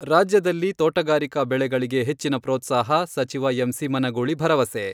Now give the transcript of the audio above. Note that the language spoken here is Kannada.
ರಾಜ್ಯದಲ್ಲಿ ತೋಟಗಾರಿಕಾ ಬೆಳೆಗಳಿಗೆ ಹೆಚ್ಚಿನ ಪ್ರೋತ್ಸಾಹ ಸಚಿವ ಎಂ.ಸಿ. ಮನಗೂಳಿ ಭರವಸೆ.